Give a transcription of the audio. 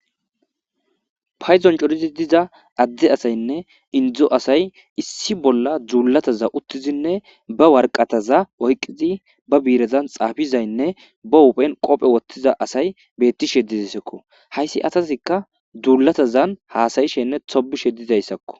Payzon corizi diza adde asaynne indzo asay issi bolla dzuulataza uttizinne ba warqataza oyqqizi ba biirezan xaafizaynne ba huphen qophe wottiza asay beetti shedizisekko hayssi asasikka dzuulatazan haasayishenne tobishe dizayssakko.